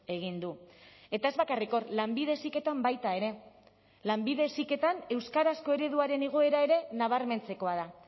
egin du eta ez bakarrik hor lanbide heziketan baita ere lanbide heziketan euskarazko ereduaren igoera ere nabarmentzekoa da